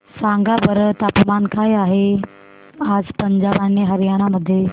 सांगा बरं तापमान काय आहे आज पंजाब आणि हरयाणा मध्ये